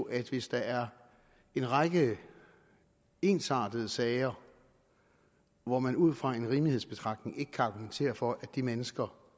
at hvis der er en række ensartede sager hvor man ud fra en rimelighedsbetragtning ikke kan argumentere for at de mennesker